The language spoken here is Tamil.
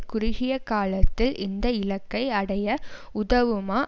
குறுகிய காலத்தில் இந்த இலக்கை அடைய உதவுமா